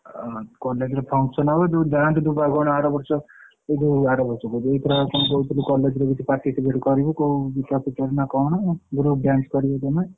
ଓହୋ college ରେ function ହବ ତୁ ଗାଁ କୁ ଯିବୁନା କଣ ଆରବର୍ଷ ଏ ହେ ଆରବର୍ଷ କହୁଛି ଏଇଥର କଣ କହୁଥିଲୁ college ରେ କିଛି participate କରିବୁ କୋଉ topic ରେ ନା କଣ? group dance କରିବ ତମେ।